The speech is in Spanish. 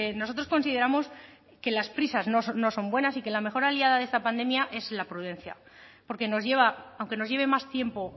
nosotros consideramos que las prisas no son buenas y que la mejor aliada de esta pandemia es la prudencia porque nos lleva aunque nos lleve más tiempo